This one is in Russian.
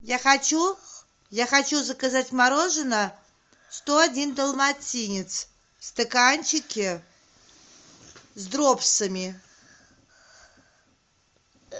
я хочу я хочу заказать мороженое сто один далматинец в стаканчике с дропсами